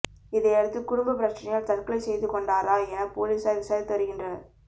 இதையடுத்து குடும்ப பிரச்சனையால் தற்கொலை செய்துக்கொண்டாரா என போலீசார் விசாரித்து வருகின்றனர்